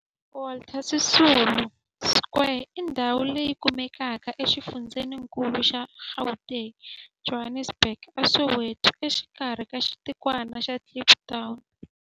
Walter Sisulu Square i ndhawu leyi kumekaka exifundzheni-nkulu xa Gauteng, Johannesburg, a Soweto, exikarhi ka xitikwana xa Kliptown.